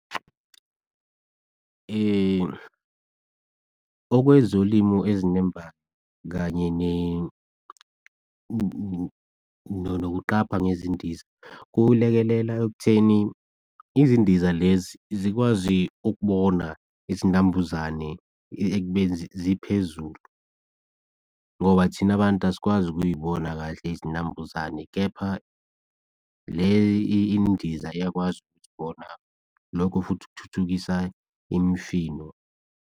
Okwezolimo ezinemba kanye nokuqapha ngezindiza kulekelela ekutheni, izindiza lezi zikwazi ukubona izinambuzane ekubeni ziphezulu ngoba thina bantu asikwazi ukuyibona kahle izinambuzane. Kepha le indiza iyakwazi ukuzibona lokho futhi kuthuthukisa imifino.